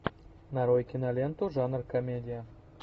нарой киноленту жанр комедия